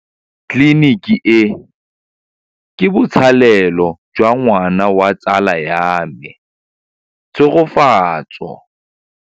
Tleliniki e, ke botsalêlô jwa ngwana wa tsala ya me Tshegofatso.